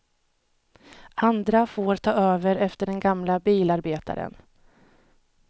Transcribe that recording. Andra får ta över efter den gamle bilarbetaren.